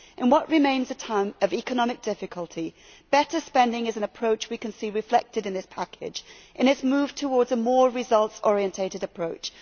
In what remains a time of economic difficulty, better spending is an approach we can see reflected in this package in its move towards a more results orientated approach.